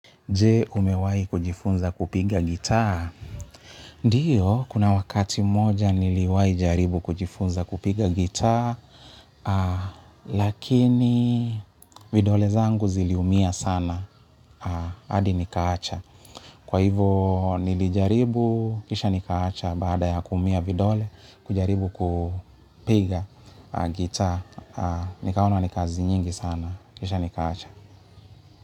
Jee, umewahi kujifunza kupiga gitaa? Ndiyo, kuna wakati mmoja niliwai jaribu kujifunza kupiga gitaa. Lakini, vidole zangu ziliumia sana. Hadi nikaacha. Kwa hivo nilijaribu, kisha nikaacha. Baada ya kuumia vidole, kujaribu kupiga gitaa. Nikaona ni kazi nyingi sana. Kisha nikaacha.